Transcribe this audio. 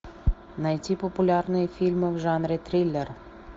найти популярные фильмы в жанре триллер